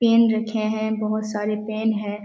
Pen रखे हैं बहुत सारे पेन हैं।